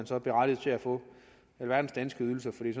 så berettiget til at få alverdens danske ydelser for det